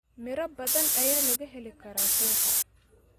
Miro badan ayaa laga heli karaa suuqa.